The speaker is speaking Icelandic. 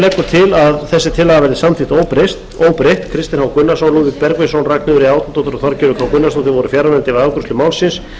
að þessi tillaga verði samþykkt óbreytt kristinn h gunnarsson lúðvík bergvinsson ragnheiður e árnadóttir og þorgerður k gunnarsdóttir voru fjarverandi við afgreiðslu málsins